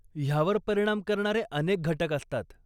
ह्यावर परिणाम करणारे अनेक घटक असतात.